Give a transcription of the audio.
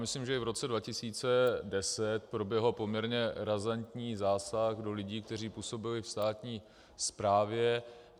Myslím, že i v roce 2010 proběhl poměrně razantní zásah do lidí, kteří působili ve státní správě.